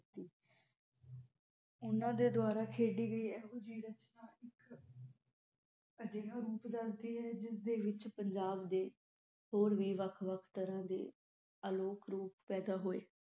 ਓਹਨਾ ਦੇ ਦੁਆਰਾ ਖੇਡੀ ਗਈ ਏਹੋ ਜਹੀ ਅਜਿਹਾ ਰੂਪ ਦਸਦੀ ਹੈ ਜਿਸਦੇ ਵਿਚ ਪੰਜਾਬ ਦੇ ਹੋਰ ਵੀ ਵੱਖ ਵੱਖ ਤਰਹ ਦੇ ਲੋਕ ਰੂਪ ਪੈਦਾ ਹੋਏ